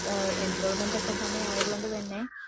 enrolment സമയം ഒക്കെ ആയത്കൊണ്ട് തന്നെ